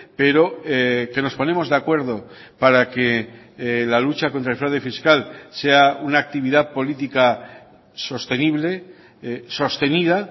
pero que nos ponemos de acuerdo para que la lucha contra el fraude fiscal sea una actividad política sostenible sostenida